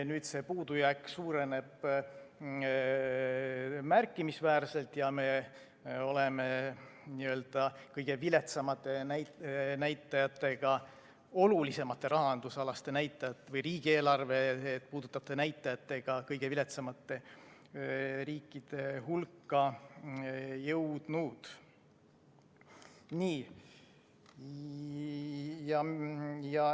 Nüüd see puudujääk suureneb märkimisväärselt ja me oleme kõige olulisemate rahandusalaste näitajatega või riigieelarvet puudutavate näitajatega kõige viletsamate riikide hulka jõudnud.